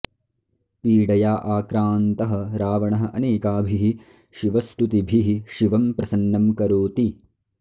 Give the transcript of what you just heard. पीडया आक्रान्तः रावणः अनेकाभिः शिवस्तुतिभिः शिवं प्रसन्नं करोति